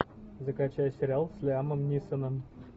закачай сериал с лиамом нисоном